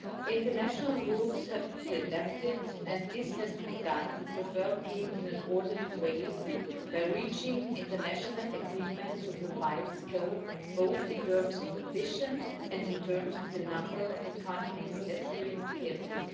International rules have to be adapted and this has to be done preferably in an orderly way by reaching international agreements with a wide scope, both in terms of ambition and in terms of the number of economies adhering thereto.